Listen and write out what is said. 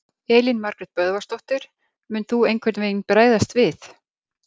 Elín Margrét Böðvarsdóttir: Mun þú einhvern veginn bregðast við?